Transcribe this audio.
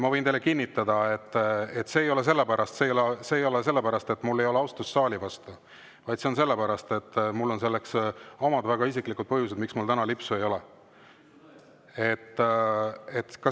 Ma võin teile kinnitada, et see ei ole sellepärast, et mul ei ole austust saali vastu, vaid mul on omad väga isiklikud põhjused, miks mul täna lipsu ei ole.